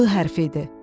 L hərfi idi.